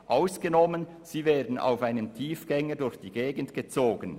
Ausgenommen, sie werden auf einem Tiefgänger durch die Gegend gezogen».